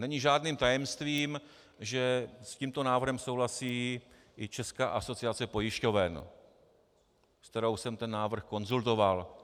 Není žádným tajemstvím, že s tímto návrhem souhlasí i Česká asociace pojišťoven, se kterou jsem ten návrh konzultoval.